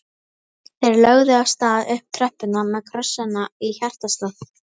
Þeir lögðu af stað upp tröppurnar með krossana í hjartastað.